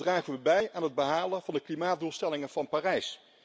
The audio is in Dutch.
Dan dragen we bij aan het behalen van de klimaatdoelstellingen van Parijs.